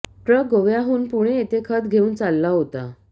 truck गोव्याहून पुणे येथे खत घेऊन चालला होता